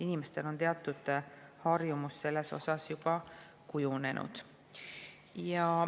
Inimestel on teatud harjumus selles osas juba kujunenud.